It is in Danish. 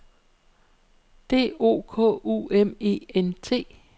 D O K U M E N T